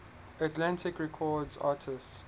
atlantic records artists